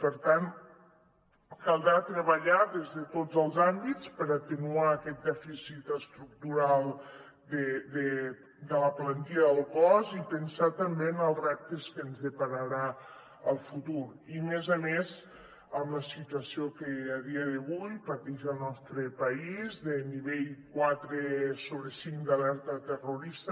per tant caldrà treballar des de tots els àmbits per atenuar aquest dèficit estructural de la plantilla del cos i pensar també en els reptes que ens depararà el futur i a més amb la situació que a dia d’avui pateix el nostre país de nivell quatre sobre cinc d’alerta terrorista